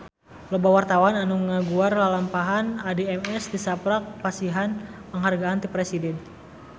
Loba wartawan anu ngaguar lalampahan Addie MS tisaprak dipasihan panghargaan ti Presiden